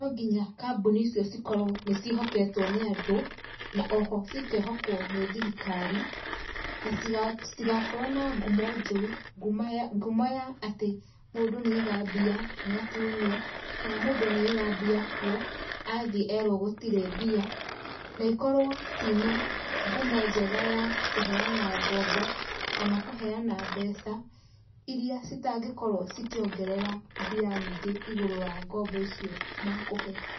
Nonginya kambuni icio cikorwo nĩciĩhoketwo nĩ andũ na oho cikehokwo nĩ thirikari na citigakorwo na ngumo njũru ngumo, ngumo ya atĩ mũndũ nĩ aiga mbia, nĩatunywo, kana mũndũ nĩ aiga mbia kwo athiĩ erwo gũtirĩ mbia, na ikorwo cina ngumo njega ya kũheana ngombo kana kũheana mbeca iria citangĩkorwo cikĩongerera mbia nyingĩ igũrũ wa ngombo icio makũhe.